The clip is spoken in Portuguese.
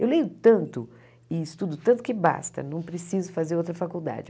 Eu leio tanto e estudo tanto que basta, não preciso fazer outra faculdade.